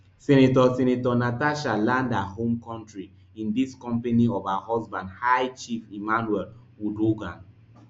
senator senator natasha land her home kontri in di company of her husband high chief emmanuel uduaghan